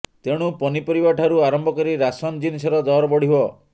ତେଣୁ ପନିପରିବାଠାରୁ ଆରମ୍ଭ କରି ରାସନ୍ ଜିନିଷର ଦର ବଢ଼ିବ